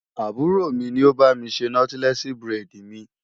Àbúrò mi ni ó bá mi ṣe nọ́tílẹ́ẹ̀sì búrẹ́dì mi.